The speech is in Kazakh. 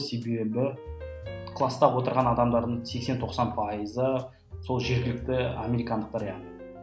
себебі класта отырған адамдардың сексен тоқсан пайызы сол жергілікті американдықтар яғни